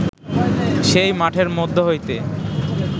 সেই মাঠের মধ্য হইতে